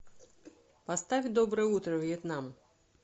поставь доброе утро вьетнам